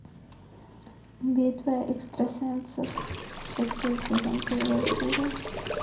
битва экстрасенсов шестой сезон первая серия